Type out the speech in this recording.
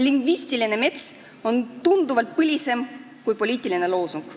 Lingvistiline mets on tunduvalt põlisem kui poliitiline loosung.